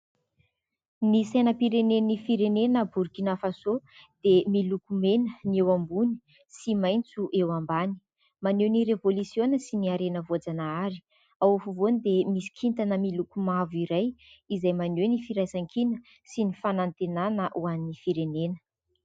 Ny sainam-pirenen'ny firenena "Borikina-Faso" dia miloko mena ny eo ambony, sy maitso eo ambany. Maneho ny revolisiona sy ny harena voajanahary. Ao afovoany dia misy kintana miloko mavo iray, izay maneho ny firaisankina sy ny fanantenana ho an'ny firenena.